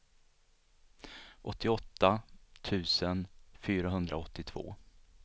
åttioåtta tusen fyrahundraåttiotvå